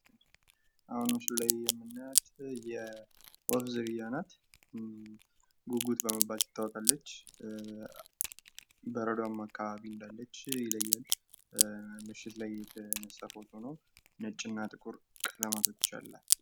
አሁን ምስሉ ላይ የምናያት የወፍ ዝርያ ናት ፤ ጉጉት በመባል ትታወቃለች ፤ በረዶማ አከባቢ እንዳለች ይለያል ፤ ምሽት ላይ የተነሳ ፎቶ ነው ፤ ነጭ እና ጥቁር ቀለማቶች አላት።